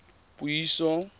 puiso